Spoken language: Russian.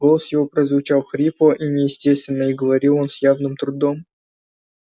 голос его прозвучал хрипло и неестественно и говорил он с явным трудом